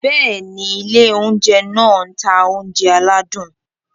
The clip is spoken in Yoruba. Bẹ́ẹ̀ni, ilé oúnjẹ náà ń ta oúnjẹ aládùn.